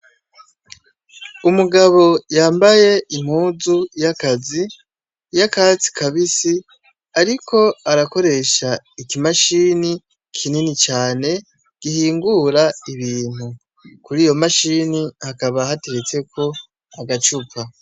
Umugabo yambaye impuzu y'akazi ,y'akatsi kabisi ,ariko arakoresha ikimashini kinini cane gihingura ibintu. Kuriyo mashini, hakaba hateretseko agacupa.